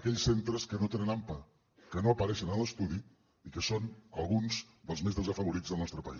aquells centres que no tenen ampa que no apareixen en l’estudi i que són alguns dels més desafavorits del nostre país